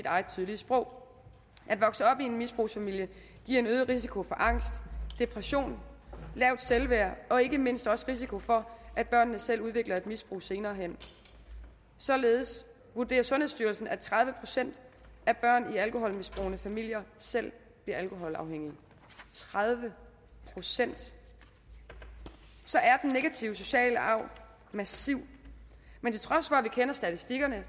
eget tydelige sprog at vokse op i en misbrugsfamilie giver en øget risiko for angst depression lavt selvværd og ikke mindst også risiko for at børnene selv udvikler et misbrug senere hen således vurderer sundhedsstyrelsen at tredive procent af børn i alkoholmisbrugende familier selv bliver alkoholafhængige tredive procent så er den negative sociale arv massiv men til trods for at vi kender statistikkerne